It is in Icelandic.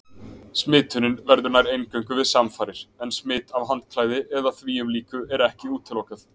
Smitunin verður nær eingöngu við samfarir en smit af handklæði eða þvíumlíku er ekki útilokað.